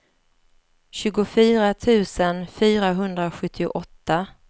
tjugofyra tusen fyrahundrasjuttioåtta